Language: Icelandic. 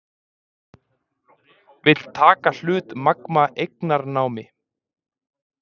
Vill taka hlut Magma eignarnámi